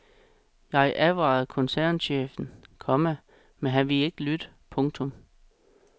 Jeg advarede koncernchefen, komma men han ville ikke lytte. punktum